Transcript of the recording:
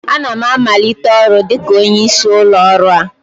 Ana m amalite ọrụ dịka onye isi ụlọ ọrụ a